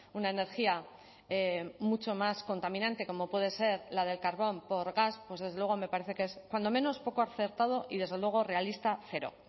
una energía mucho más contaminante como puede ser la del carbón por gas pues desde luego me parece que es cuando menos poco acertado y desde luego realista cero